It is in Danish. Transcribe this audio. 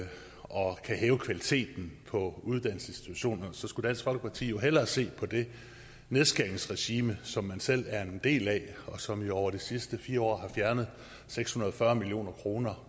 og kan hæve kvaliteten på uddannelsesinstitutionerne skulle dansk folkeparti hellere se på det nedskæringsregime som man selv er en del af og som jo over de sidste fire år har fjernet seks hundrede og fyrre million kroner